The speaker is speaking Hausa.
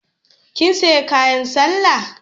Kin sayi kayan sallar?